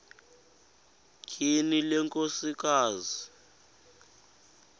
tyhini le nkosikazi